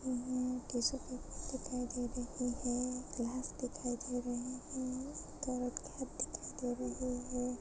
Tissue paper दिखाई दे रहे हैं गिलास दिखाई दे रहे हैं दो दिखाई दे रहे हैं।